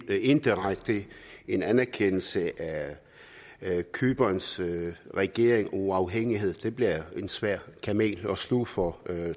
indirekte en anerkendelse af cyperns regerings uafhængighed det bliver en svær kamel at sluge for